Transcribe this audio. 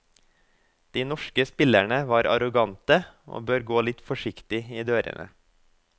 De norske spillerne var arrogante, og bør gå litt forsiktig i dørene.